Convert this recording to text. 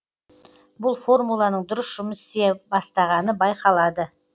бұл формуланың дұрыс жұмыс істей бастағаны байқалады